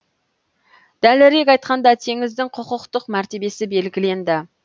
дәлірек айтқанда теңіздің құқықтық мәртебесі белгіленді